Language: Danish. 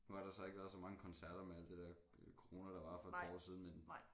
Nu har der så ikke været så mange koncerter med alt det der corona der var for et par år siden men